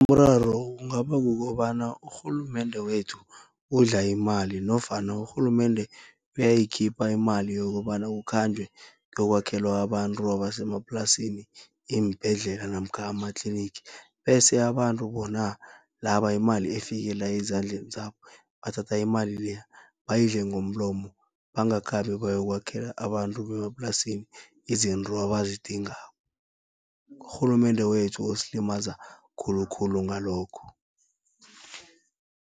Umraro kungaba kukobana urhulumende wethu udla imali nofana urhulumende uyayikhipha imali, yokobana kukhanjwe kuyokwakhelwa abantu abasemaplasini iimbhedlela namkha amatliniki. Bese abantu bona laba imali efikela ezandleni zabo, bathatha imali le bayidle ngomlomo bangakhambi bayokwakhela abantu bemaplasini izinto abazidingako. Urhulumende wethu usilimaza khulukhulu ngalokho.